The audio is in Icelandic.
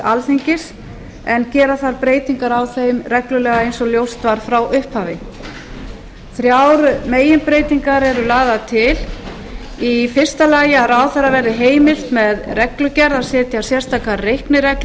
alþingis en gera þarf breytingar á þeim reglulega eins og ljóst var frá upphafi þrjár meginbreytingar eru lagðar til fyrstu að ráðherra verði heimilt með reglugerð að setja sérstakar reiknireglur